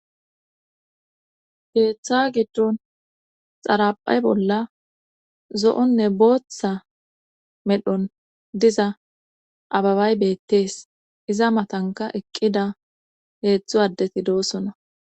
Keeththa giddon xaraphay bolla zo'onne booththa medhon diza ababay beettees iza matanka eqqida heedzdzu addeti doosona